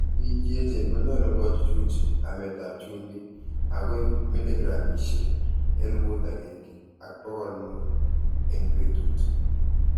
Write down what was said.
Biik cheechen konyalu kochuchui ameet ap chumbiik �agoi miligramishek �elput agenge ak pokol muut eng' betuut.